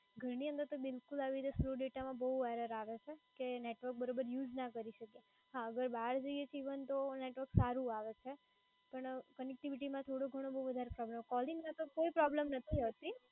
ઘરની અંદર તો આવી રીતે slow data માં બોવ error આવે છે કે network બરોબર use ના કરી શકે. હા, અગર બહાર જઇએ તો even network સારું આવે છે. પણ connectivity માં થોડો ઘણો બવ વધારે ખબર, calling માં તો કોઈ problem નથી રહેતી.